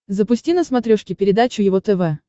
запусти на смотрешке передачу его тв